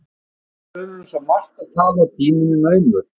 Við höfum um svo margt að tala, og tíminn er naumur